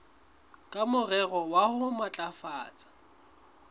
ka morero wa ho matlafatsa